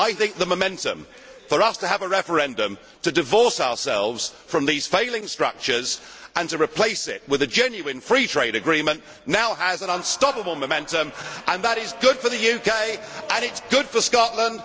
I think the momentum for us to have a referendum to divorce ourselves from these failing structures and to replace them with a genuine free trade agreement now has an unstoppable momentum, and that is good for the UK and it is good for Scotland.